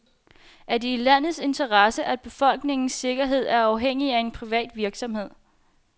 Er det i landets interesse, at befolkningens sikkerhed er afhængig af en privat virksomhed?